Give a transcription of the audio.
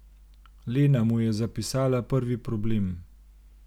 Lena mu je zapisala prvi problem.